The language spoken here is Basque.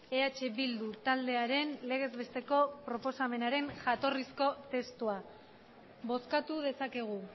eh bildu taldearen legez besteko proposamenaren jatorrizko testua bozkatu dezakegu